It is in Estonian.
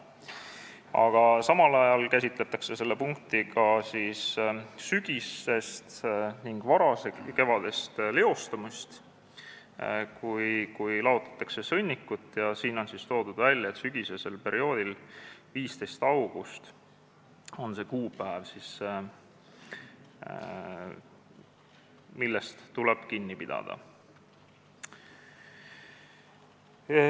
Aga samal ajal käsitletakse selle punktiga sügisest ning varakevadist leostumist, kui laotatakse sõnnikut, ja siin on toodud välja, et sügisesel perioodil on 15. august see kuupäev, millest tuleb kinni pidada.